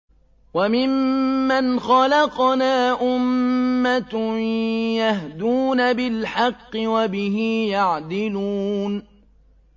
وَمِمَّنْ خَلَقْنَا أُمَّةٌ يَهْدُونَ بِالْحَقِّ وَبِهِ يَعْدِلُونَ